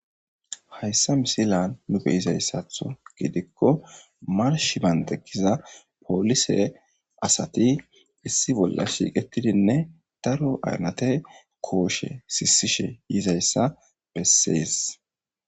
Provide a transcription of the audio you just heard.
Hayssa misila nu be'iza issatho gidikko marsh bandekiza poolise asati issi bolla shiiqetidinne daro aynate kooshe siisishe yiiiza issa bessees.